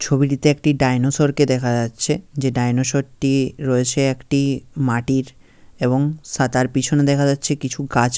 ছবিটিতে একটি ডায়নোসর কে দেখা যাচ্ছে। যে ডায়নোসর টি রয়েছে একটি মাটির এবং সা তার পিছনে দেখা যাচ্ছে কিছু গাছ --